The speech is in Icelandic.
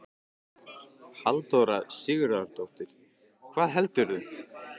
Halldóra Sigurðardóttir: Hvað heldurðu?